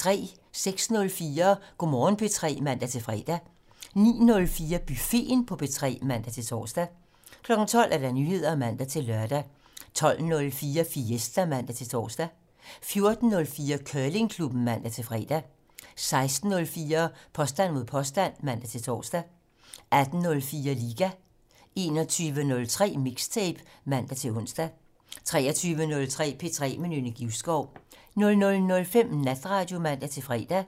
06:04: Go' Morgen P3 (man-fre) 09:04: Buffeten på P3 (man-tor) 12:00: Nyheder (man-lør) 12:04: Fiesta (man-tor) 14:04: Curlingklubben (man-fre) 16:04: Påstand mod påstand (man-tor) 18:04: Liga 21:03: Mixtape (man-ons) 23:03: P3 med Nynne Givskov 00:05: Natradio (man-fre)